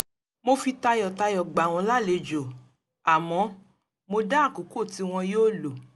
mo fi tayọ̀tayọ̀ gbà wọ́n lálejò àmọ́ mo dá àkókò tí wọn yóò lọ